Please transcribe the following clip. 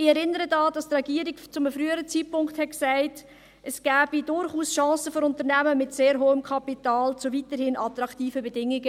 Ich erinnere daran, dass die Regierung zu einem früheren Zeitpunkt sagte, dass es für Unternehmen in diesem Kanton Bern mit sehr hohem Kapital durchaus Chancen gebe zu weiterhin attraktiven Bedingungen.